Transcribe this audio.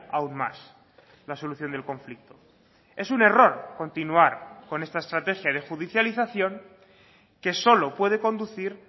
aún más la solución del conflicto es un error continuar con esta estrategia de judicialización que solo puede conducir